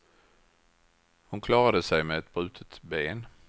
Hon klarade sig med brutet ben.